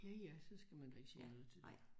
Ja ja så skal man da ikke sige noget til det